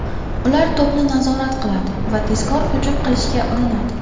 Ular to‘pni nazorat qiladi va tezkor hujum qilishga urinadi.